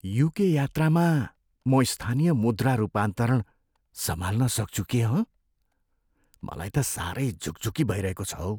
UK यात्रामा म स्थानीय मुद्रा रूपान्तरण सम्हाल्न सक्छु के, हँ? मलाई त साह्रै झुकझुकी भइरहेको छ हौ।